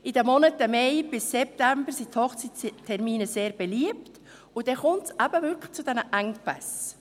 In den Monaten Mai bis September sind die Hochzeitstermine sehr beliebt, und dann kommt es eben wirklich zu diesen Engpässen.